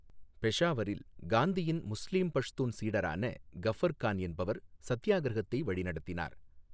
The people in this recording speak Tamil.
பெஷாவரில், காந்தியின் முஸ்லீம் பஷ்தூன் சீடரான கஃபர் கான் என்பவர் சத்தியாகிரகத்தை வழிநடத்தினார்.